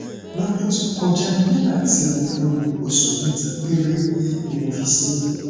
lọdún tó kọjá nígbà tí mo lóyún oṣù mẹta péré ni mo fi ṣe é